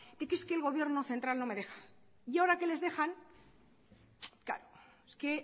es que el gobierno central no me deja y ahora que les dejan claro es que